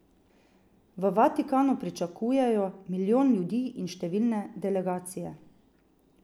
V Vatikanu pričakujejo milijon ljudi in številne delegacije.